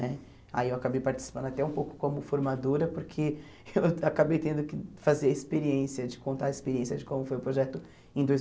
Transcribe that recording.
Né aí eu acabei participando até um pouco como formadora, porque eu acabei tendo que fazer a experiência contar a experiência de como foi o projeto em dois